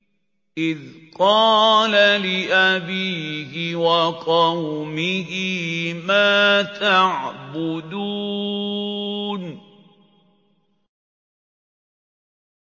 إِذْ قَالَ لِأَبِيهِ وَقَوْمِهِ مَا تَعْبُدُونَ